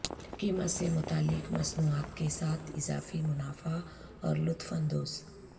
قیمت سے متعلق مصنوعات کے ساتھ اضافی منافع اور لطف اندوز